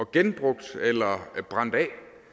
genbrugt eller brændt af